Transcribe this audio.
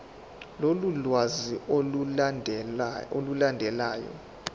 lolu lwazi olulandelayo